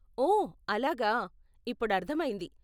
ఓ అలాగా, ఇప్పుడు అర్ధమయ్యింది.